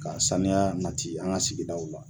Ka saniya nati an ka sigidaw la.